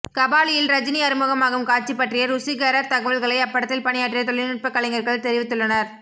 கபாலியில் ரஜினி அறிமுகமாகும் காட்சி பற்றிய ருசிகர தகவல்களை அப்படத்தில் பணியாற்றிய தொழில்நுட்ப கலைஞர்கள் தெரிவித்துள்ளனர்